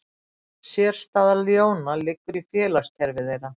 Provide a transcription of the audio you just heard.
Sérstaða ljóna liggur í félagskerfi þeirra.